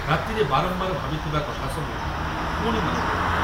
ରାତିରେ ବାରମ୍ବାର ଭାବିଥିବା କଥା ସବୁ ପୁଣି ମନେପଡ଼ିଲା।